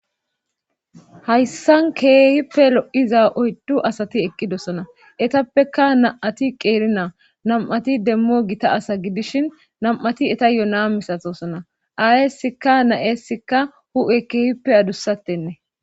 Hayssan keehippe lo'iza oyddu asati eqqidosona etappeka na'ati qeeri naa nam'ati demmo gita asa gidishin nam'ati eta yona misatosona aayeesikka na'eessikka hu'e keehippe adussattenne.